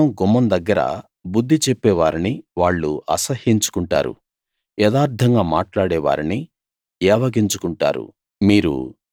పట్టణ గుమ్మం దగ్గర బుద్ధి చెప్పే వారిని వాళ్ళు అసహ్యించుకుంటారు యథార్థంగా మాట్లాడే వారిని ఏవగించుకుంటారు